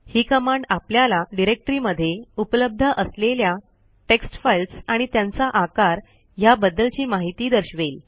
ही command आपल्याला directory मध्ये उपलब्ध असलेल्या टेक्स्ट फाईल्स आणि त्यांचा आकार ह्या बद्दलची माहिती दर्शवेल